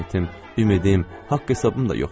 ümiddim, haqq hesabım da yoxdur.